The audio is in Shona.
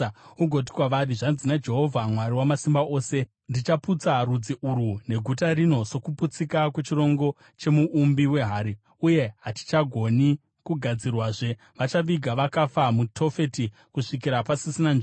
ugoti kwavari, ‘Zvanzi naJehovha Mwari Wamasimba Ose: Ndichaputsa rudzi urwu neguta rino sokuputsika kwechirongo chemuumbi wehari uye hachingagoni kugadzirwazve. Vachaviga vakafa muTofeti kusvikira pasisina nzvimbo.